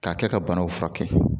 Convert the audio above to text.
K'a kɛ ka banaw furakɛ